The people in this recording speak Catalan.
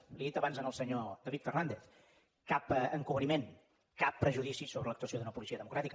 li ho he dit abans al senyor david fernàndez cap encobriment cap prejudici sobre l’actuació d’una policia democràtica